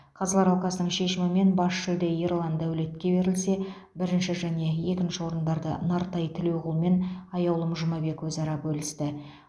қазылар алқасының шешімімен бас жүлде ерлан дәулетке берілсе бірінші және екінші орындарды нартай тілеуқұл мен аяулым жұмабек өзара бөлісті